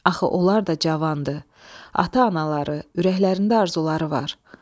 Axı onlar da cavandı, ata-anaları, ürəklərində arzuları var.